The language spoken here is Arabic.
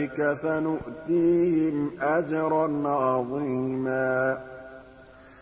أُولَٰئِكَ سَنُؤْتِيهِمْ أَجْرًا عَظِيمًا